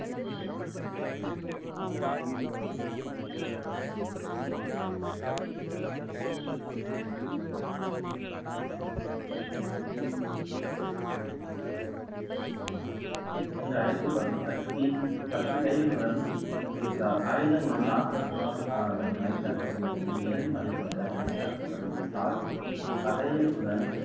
என்று அழைக்கப்படும் சக்தி பத்து கைகளுடன் இருக்கிறாள். ஆயுதங்களுடன் ஆக்ரோஷமாக காணப்படும் மகிஷாசூரமர்த்தினி ஏறும் மலை கொண்ட மகிஷாசுரன்